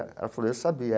Ela falou, eu sabia.